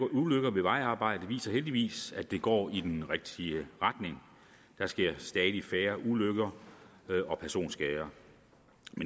ulykker ved vejarbejde viser heldigvis at det går i den rigtige retning der sker stadig færre ulykker og personskader